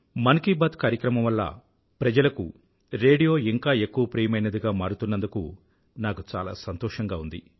మన్ కీ బాత్ కార్యక్రమం వల్ల ప్రజలకు రేడియో ఇంకా ఎక్కువ ప్రియమైనదిగా మారుతున్నందుకు నాకు చాలా సంతోషంగా ఉంది